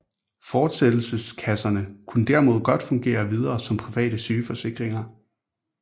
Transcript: Fortsættelseskasserne kunne derimod godt fungere videre som private sygeforsikringer